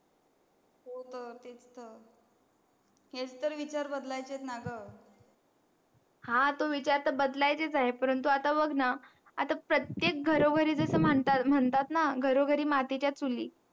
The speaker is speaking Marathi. हो न हेच तर विचार बदलायचेत ना गं हा तो विचार तर बदलायचेच आहेत परंतु आता बघ ना आता प्रत्येक घरो घरी जस म्हणतात ना घरोघरी मातीच्या चुली